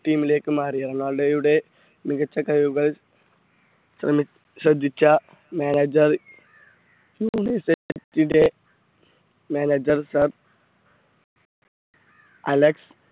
team ലേക്ക് മാറിയത് റൊണാൾഡോയുടെ മികച്ച കഴിവുകൾ ശ്രേമി ശ്രദ്ധിച്ച manager manager sir അലക്സ്